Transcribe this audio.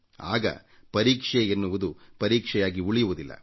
ಆಗ ಪರೀಕ್ಷೆಯೆನ್ನುವುದು ಮತ್ತೆ ಪರೀಕ್ಷೆಯಾಗಿ ಉಳಿಯುವುದಿಲ್ಲ